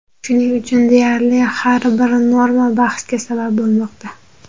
Shuning uchun deyarli har bir norma bahsga sabab bo‘lmoqda.